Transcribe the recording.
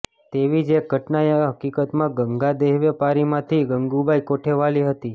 તેવી જ એક ઘટનાએ હકીકતમાં ગંગા દેહવેપારીમાંથી ગંગુબાઈ કોઠેવાલી હતી